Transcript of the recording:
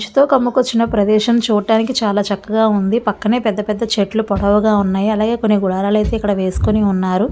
చు తొ కమ్ముకచ్చిన ప్రదేశం చూడటానికి చాల చక్కగా ఉంది. పక్కనే పెద్ద పెద్ద చెట్లు పొడవుగా ఉన్నాయి. అలాగే కొన్ని గుడారాలైతే ఇక్కడ వెస్కొని ఉన్నారు. ]